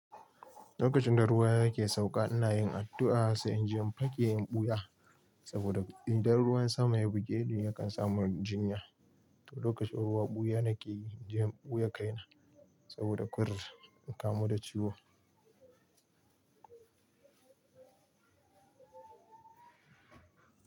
Lokacin da ruwa yake sauka ina yin addu'a sai in je in fake in ɓuya. Saboda idan ruwan sama ya bugeni yakan samu jinya. To lokacin ruwa ɓuya nake yi, in je in ɓuya kaina saboda kur in kamu da ciwo.